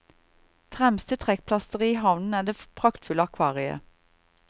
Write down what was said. Fremste trekkplaster i havnen er det praktfulle akvariet.